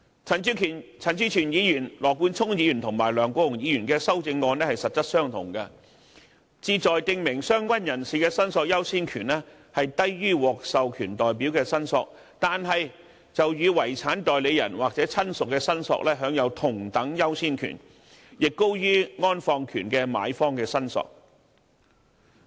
陳志全議員、羅冠聰議員及梁國雄議員的修正案是實質相同，旨在訂明相關人士的申索優先權低於獲授權代表的申索，但與遺產代理人或親屬的申索享有同等優先權，亦高於安放權的買方的申索。